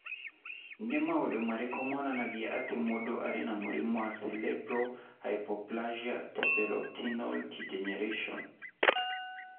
Nĩ maũndũ marĩkũ monanagia atĩ mũndũ arĩ na mũrimũ wa Cerebellar hypoplasia tapetoretinal degeneration?